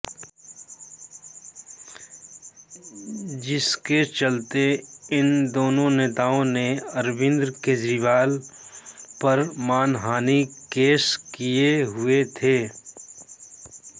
जिसके चलते इन दोनों नेताओं ने अरविंद केजरीवाल पर मानहानि केस किए हुए थे